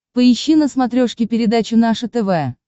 поищи на смотрешке передачу наше тв